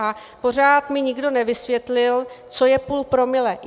A pořád mi nikdo nevysvětlil, co je půl promile.